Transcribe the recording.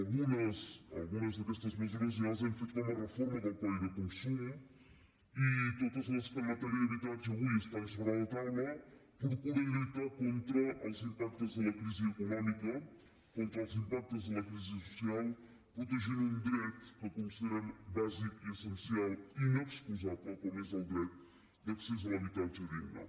algunes d’aquestes mesures ja les hem fet com a reforma del codi de consum i totes les que en matèria d’habitatge avui estan sobre la taula procuren lluitar contra els impactes de la crisi econòmica contra els impactes de la crisi social protegint un dret que considerem bàsic i essencial i inexcusable com és el dret d’accés a l’habitatge digne